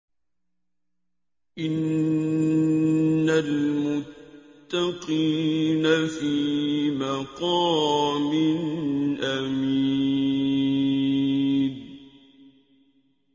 إِنَّ الْمُتَّقِينَ فِي مَقَامٍ أَمِينٍ